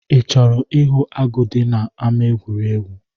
I chọrọ m ihu agụ dị n'ámá egwuregwu?